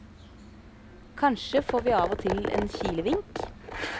Kanskje får vi av og til en kilevink.